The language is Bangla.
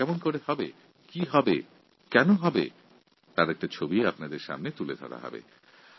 এই প্রকল্পে কী হবে কেমন হবে এবং কীভাবে হবে তার বিস্তারিত পরিকাঠামো আপনাদের সামনে তুলে ধরা হবে